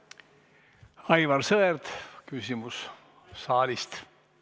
Aivar Sõerd, küsimus saalist!